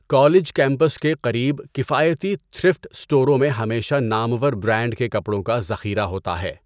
College campus کے قریب کفایتی تھرفٹ اسٹوروں میں ہمیشہ نامور برانڈ کے کپڑوں کا ذخیرہ ہوتا ہے۔